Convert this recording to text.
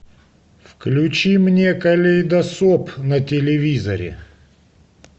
включи мне калейдоскоп на телевизоре